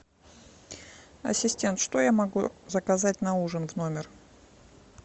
ассистент что я могу заказать на ужин в номер